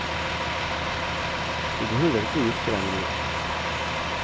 Du behøver ikke å gifte deg med noen.